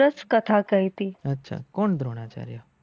સારસ કથા કહેતી